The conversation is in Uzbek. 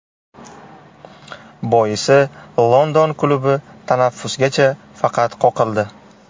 Boisi London klubi tanaffusgacha faqat qoqildi.